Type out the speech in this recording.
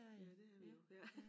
Ja det er vi jo